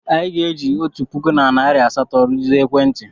Anyị ga-eji otu puku na narị asatọ rụzie ekwentị.